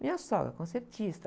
Minha sogra? Concertista